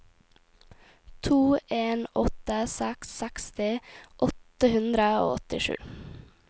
to en åtte seks seksti åtte hundre og åttisju